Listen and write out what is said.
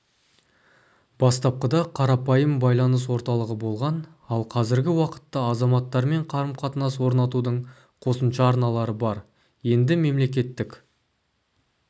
бастапқыда қарапайым байланыс орталығы болған ал қазіргі уақытта азаматтармен қарым-қатынас орнатудың қосымша арналары бар енді мемлекеттік